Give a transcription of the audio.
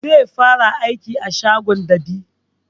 Zai fara aiki a shagon dab'i